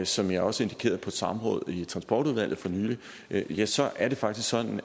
som jeg også indikerede på et samråd i transportudvalget for nylig ja så er det faktisk sådan